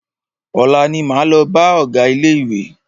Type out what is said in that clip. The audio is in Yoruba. Ọ̀la ní máa lọ bá ọgá ilé ìwé.